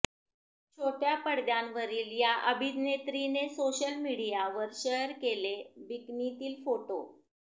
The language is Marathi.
छोट्या पडद्यावरील या अभिनेत्रीने सोशल मीडियावर शेअर केले बिकनीतील फोटो